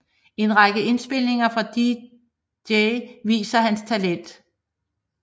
En række indspilninger fra DG viser hans talent